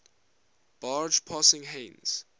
barge passing heinz